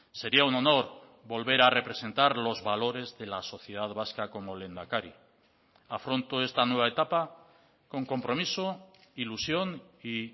sería un honor volver a representar los valores de la sociedad vasca como lehendakari afronto esta nueva etapa con compromiso ilusión y